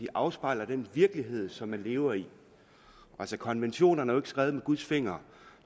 de afspejler den virkelighed som man lever i altså konventionerne skrevet med guds finger